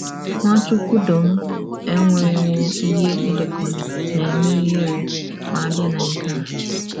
Nwachukwudọm enwewo ihe edekọrọ na - eme ihere ma a bịa na nke a.